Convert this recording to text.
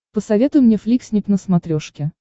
посоветуй мне фликснип на смотрешке